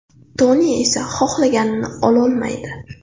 Toni esa xohlganini ololmaydi.